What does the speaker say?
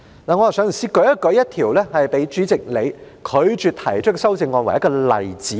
讓我以一項被主席你拒絕我提出的修正案作為例子。